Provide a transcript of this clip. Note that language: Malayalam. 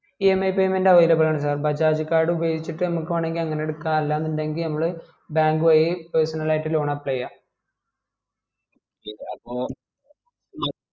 emipaymentavailable ആണ് sir bajaj card ഉപയോഗിച്ചിട്ട് നമുക്ക് വേണേ അങ്ങനെ എടുകാം അല്ല ഇണ്ടെങ്കിൽ നമ്മള് bank വഴി personal ആയിട്ട് loan apply ചെയാ okay അപ്പോ